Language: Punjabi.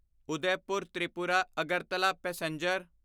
ਉਦੈਪੁਰ ਤ੍ਰਿਪੁਰਾ ਅਗਰਤਲਾ ਪੈਸੇਂਜਰ